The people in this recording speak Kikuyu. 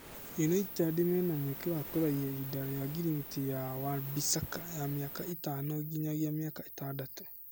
Yunaitedi mena mweke wa kũraihia ihinda ria ngirimiti ya Wa Bĩsaca ya mĩaka ĩtano nginyagĩa mĩaka ĩtandatu.